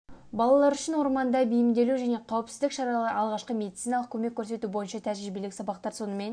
балалар үшін орманда бейімделу және қауіпсіздік шаралары алғашқы медициналық көмек көрсету бойынша тәжірибелік сабақтар сонымен